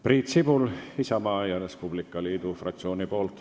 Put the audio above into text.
Priit Sibul Isamaa ja Res Publica Liidu fraktsiooni nimel.